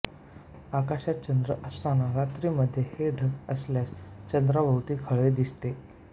आकाशात चंद्र असताना रात्री मध्ये हे ढग आल्यास चंद्राभोवती खळे दिसते